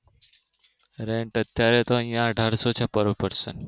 rent અત્યારે તો અહિયાં અઢારશો ચુકવવું પડશે